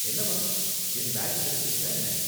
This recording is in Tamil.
என்னவாம்? என் பேக் கிடைச்சிடுச்சா என்ன ?